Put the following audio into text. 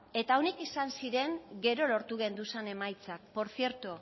eta honek izan ziren gero lortu genduzan emaitzak por cierto